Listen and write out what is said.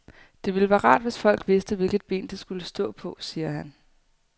Det ville være rart, hvis folk vidste, hvilket ben de skulle stå på, siger han.